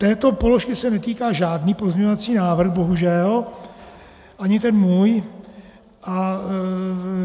Této položky se netýká žádný pozměňovací návrh bohužel, ani ten můj.